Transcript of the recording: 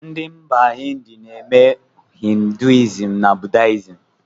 Ndị mba India na-eme ‘hinduism na buddihism’